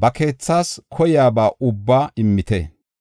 ba keethas koyiyaba ubba immite.